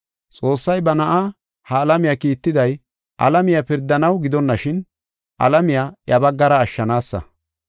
Xoossay ba Na7aa ha alamiya kiittiday alamiya pirdanaw gidonashin alamiya iya baggara ashshanaasa.